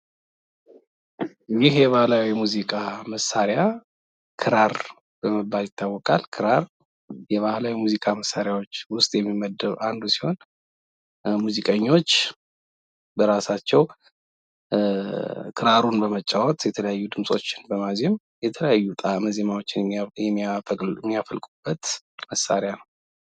ይህ የባህላዊ ሙዚቃ መሳሪያ ክራር በመባል ይታወቃል። ክራር የባህላዊ ሙዚቃ መሳሪያዎች ውስጥ የሚመደብ አንዱ ሲሆን ሙዚቀኞች ራሳቸው ክራሩን በመጫወት የተለያዩ ድምፆችን በማዜም የተለያዩ ጣእም ዘማዎችን የሚያፈልቁበት መሳሪያ ነው።